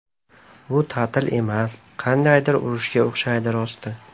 Bu ta’til emas, qandaydir urushga o‘xshaydi, rosti.